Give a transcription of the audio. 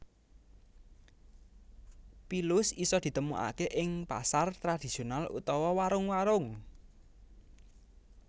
Pilus isa ditemokake ing pasar tradhisional utawa warung warung